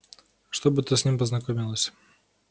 чтобы ты с ним познакомилась